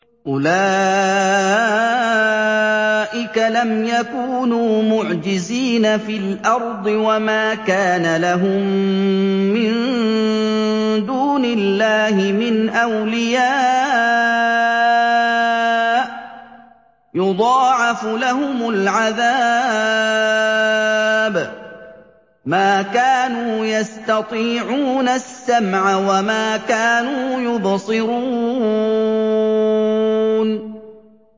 أُولَٰئِكَ لَمْ يَكُونُوا مُعْجِزِينَ فِي الْأَرْضِ وَمَا كَانَ لَهُم مِّن دُونِ اللَّهِ مِنْ أَوْلِيَاءَ ۘ يُضَاعَفُ لَهُمُ الْعَذَابُ ۚ مَا كَانُوا يَسْتَطِيعُونَ السَّمْعَ وَمَا كَانُوا يُبْصِرُونَ